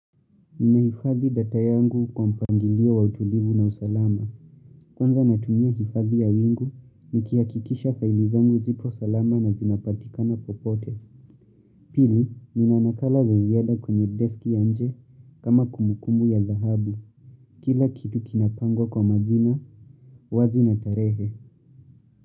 Ninaifadhi data yangu kwa mpangilio wa utulivu na usalama. Kwanza natumia hifadhi ya wingu, nikihakikisha faili zangu zipo salama na zinapatikana popote. Pili, nina nakala za ziada kwenye desk ya nje kama kumbukumbu ya dhahabu. Kila kitu kinapangwa kwa majina, wazi na tarehe.